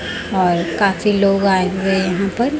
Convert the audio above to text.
और काफी लोग आऍं हुए यहाॅं पर।